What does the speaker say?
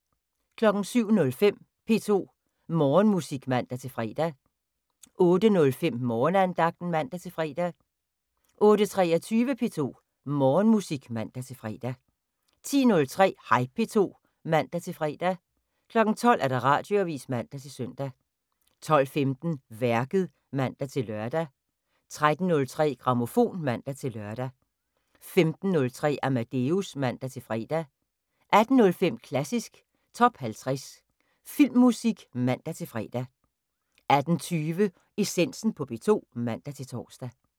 07:05: P2 Morgenmusik (man-fre) 08:05: Morgenandagten (man-fre) 08:23: P2 Morgenmusik (man-fre) 10:03: Hej P2 (man-fre) 12:00: Radioavis (man-søn) 12:15: Værket (man-lør) 13:03: Grammofon (man-lør) 15:03: Amadeus (man-fre) 18:05: Klassisk Top 50 Filmmusik (man-fre) 18:20: Essensen på P2 (man-tor)